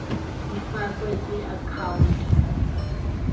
ifakwe kwi account